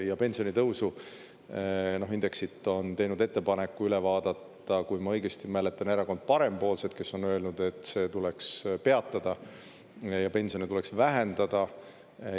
Ja pensionitõusu, indeksit on teinud ettepaneku üle vaadata, kui ma õigesti mäletan, Erakond Parempoolsed, kes on öelnud, et see tuleks peatada ja pensione tuleks vähendada.